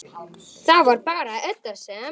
Börnin frísk.